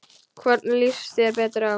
Hvorn líst þér betur á?